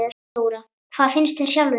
Þóra: Hvað finnst þér sjálfum?